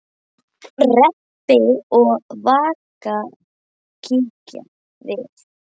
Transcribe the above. Rebbi og Vaka kíkja við.